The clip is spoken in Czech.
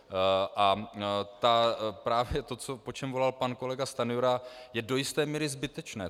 A právě to, po čem volal pan kolega Stanjura, je do jisté míry zbytečné.